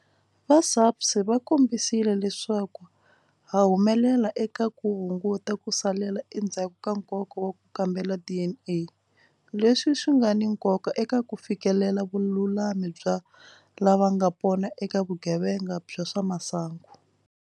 Va SAPS va kombisile leswaku ha humelela eka ku hunguta ku salela endzhaku ka nkoka ka ku kambela DNA, leswi nga ni nkoka eka ku fikelela vululami bya lavanga pona eka vugevenga bya swa masangu.